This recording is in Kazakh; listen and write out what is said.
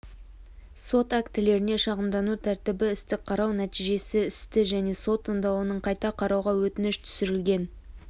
сот актілеріне шағымдану тәртібі істі қарау нәтижесі істі және сот тыңдауының қайта қарауға өтініш түсірілген